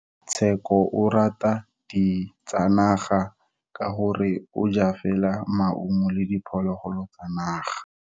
Tsheko o rata ditsanaga ka gore o ja fela maungo le diphologolo tsa naga.